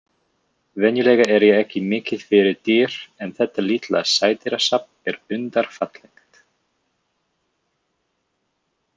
Venjulega er ég ekki mikið fyrir dýr en þetta litla sædýrasafn er undurfallegt.